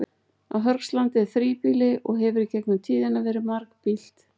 Á Hörgslandi er þríbýli og hefur í gegnum tíðina verið margbýlt.